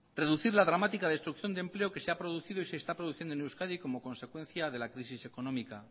reducir la dramática destrucción de empleo que se ha producido y se está produciendo en euskadi como consecuencia de la crisis económica